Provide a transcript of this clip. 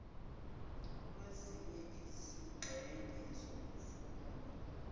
kwezinye izingxenye zokufunda